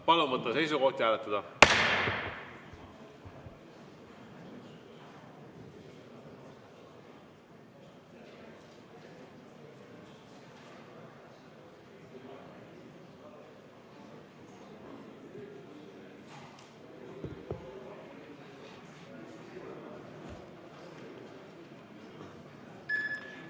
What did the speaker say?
Palun võtta seisukoht ja hääletada!